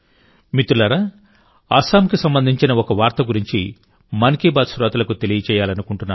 మిత్రులారాఅస్సాంకి సంబంధించిన ఒక వార్త గురించి మన్ కీ బాత్ శ్రోతలకు తెలియజేయాలనుకుంటున్నాను